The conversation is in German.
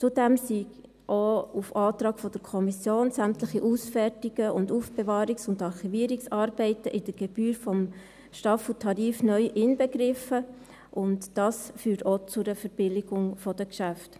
Zudem sind auf Antrag der Kommission auch sämtliche Ausfertigungs-, Aufbewahrungs- und Archivierungsarbeiten neu in der Gebühr des Staffeltarifs inbegriffen, und dies führt auch zu einer Verbilligung der Geschäfte.